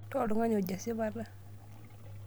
Taa oltung'ani ojo esipata .